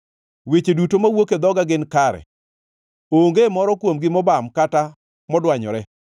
Weche duto mawuok e dhoga gin kare, onge moro kuomgi mobam kata modwanyore.